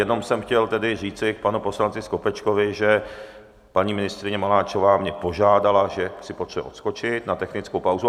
Jenom jsem chtěl tedy říci k panu poslanci Skopečkovi, že paní ministryně Maláčová mě požádala, že si potřebuje odskočit na technickou pauzu.